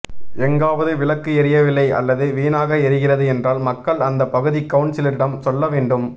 எங்காவது விளக்கு எரியவில்லை அல்லது வீணாக எரிகிறது என்றால் மக்கள் அந்த பகுதி கவுன்சிலரிடம் சொல்ல வேண்டும்